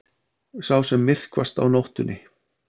Sá sem myrkvast á nóttunni.